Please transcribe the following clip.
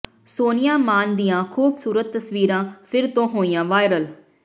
ਸੋਨੀਆ ਮਾਨ ਦੀਆਂ ਖੂਬਸੂਰਤ ਤਸਵੀਰਾਂ ਫਿਰ ਤੋਂ ਹੋਈਆਂ ਵਾਇਰਲ